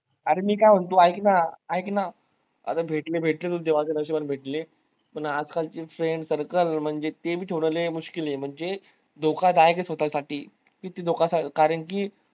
अरे मी काय म्हणतो ऐक ना ऐक ना आता भेटले भेटले तर देवाच्या नशिबाने भेटले, पण आजकालचे friends circle म्हणजे ते बी थोडं लय ए म्हणजे धोकादायक ए स्वतःसाठी किती धोका कारण कि